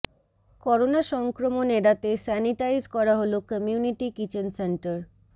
corona সংক্রমণ এড়াতে sanitise করা হল কমিউনিটি কিচেন সেন্টার